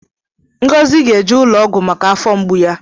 Ngozi ga-eje ụlọ ọgwụ maka afọ mgbu ya.